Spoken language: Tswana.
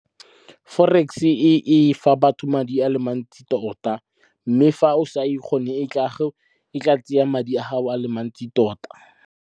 Forex e fa batho madi a le mantsi tota mme fa o sa e kgone e tla tseya madi a gago a le mantsi tota.